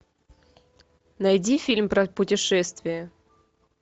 найди фильм про путешествия